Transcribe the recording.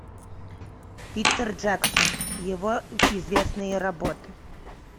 питер джексон его известные работы